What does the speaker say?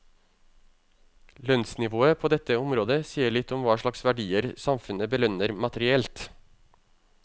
Lønnsnivået på dette området sier litt om hva slags verdier samfunnet belønner materielt.